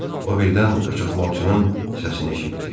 O birdən qaçaqmalçının səsini eşitdi.